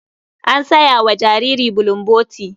An saya wa jariri bulomboti.